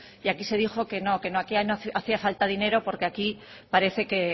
y aquí se dijo que no que no hacía falta dinero porque aquí parece que